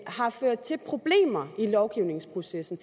har ført til problemer i lovgivningsprocessen